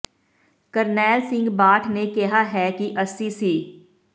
ਕਰਨੈਲ ਸਿੰਘ ਬਾਠ ਨੇ ਕਿਹਾ ਹੈ ਕਿ ਅਸੀਂ ਸ